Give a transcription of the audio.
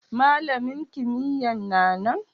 Malamin kimiyya'n na nan?